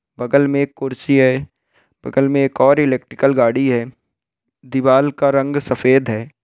बगल में एक कुर्सी है बगल में एक और इलेक्ट्रिकल गाड़ी है दीवाल का रंग सफ़ेद है।